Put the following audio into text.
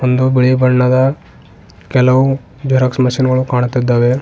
ಒಂದು ಬಿಳಿ ಬಣ್ಣದ ಕೆಲವು ಜರೋಕ್ಸ್ ಮಷೀನ್ ಗಳು ಕಾಣುತ್ತಿದ್ದಾವೆ.